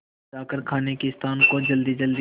जाकर खाने के स्थान को जल्दीजल्दी